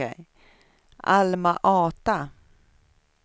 Alma-Ata